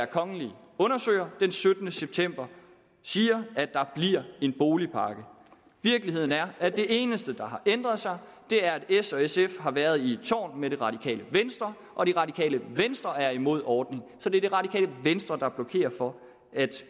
kongelig undersøger den syttende september siger at der bliver en boligpakke virkeligheden er at det eneste der har ændret sig er at s og sf har været i et tårn med det radikale venstre og det radikale venstre er imod ordningen så det er det radikale venstre der blokerer for at